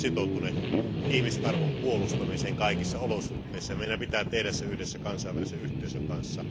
Me olemme sitoutuneet ihmisarvon puolustamiseen kaikissa olosuhteissa ja meidän pitää tehdä se yhdessä kansainvälisen yhteisön kanssa.